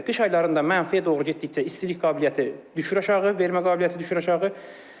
Qış aylarında mənfiyə doğru getdikcə istilik qabiliyyəti düşür aşağı, vermə qabiliyyəti düşür aşağı.